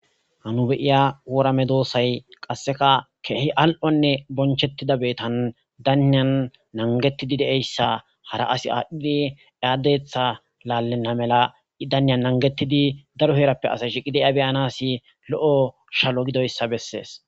hanu beiya worame doosay qasseka keehi al7onne bonchettida beetan daniyan nangettidi deeyssa hara asi aadhdhidi aaddetha laallenna mela i daniyan nangettidi daro heerappe asa shiqi deya beyanasi lo7o shalo gidoyssa bessees